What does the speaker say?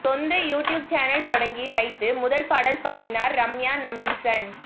சொந்த YouTube channel தொடங்கி வைத்து முதல் பாடல் பாடினார் ரம்யா நம்பீசன்